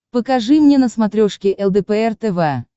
покажи мне на смотрешке лдпр тв